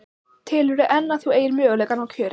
Telurðu enn að þú eigir möguleika á að ná kjöri?